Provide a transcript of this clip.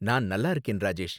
நான் நல்லா இருக்கேன், ராஜேஷ்.